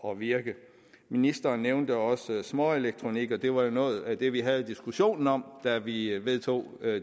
at virke ministeren nævnte også småelektronik og det var jo noget af det vi havde diskussionen om da vi vedtog